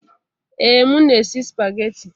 Ee, m na-esi spaghetti.